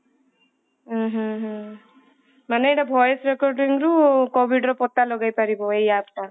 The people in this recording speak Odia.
ଉଁ ହୁଁ ହୁଁ ମାନେ ଏଇଟା voice recording ରୁ covid ର ପତା ଲଗେଇପରିବ ଏଇ app ଟା